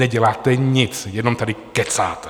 Neděláte nic, jenom tady kecáte.